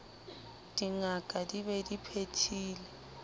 dingaka di be di phethile